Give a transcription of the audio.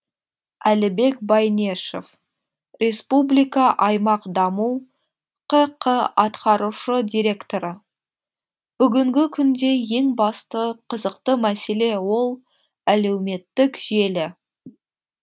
әлібек байнешов республика аймақ даму ққ атқарушы директоры бүгінгі күнде ең басты қызықты мәселе ол әлеуметтік желі